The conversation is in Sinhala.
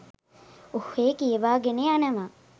ඔහේ කියවා ගෙන යනවා.